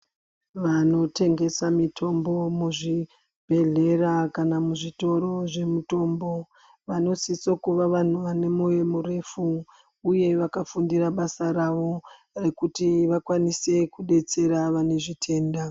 Vanotengesa mitombo muzvibhedhlera kana muzvitoro zvemutombo vanosise kuva vantu vane mwoyo murefu uye vakafundira basa ravo rekuti vakwanise kudetsera vane zvitenda.